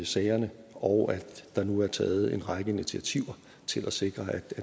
sagerne og at der nu er taget en række initiativer til at sikre at